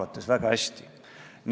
Kogu austusega, nii see on.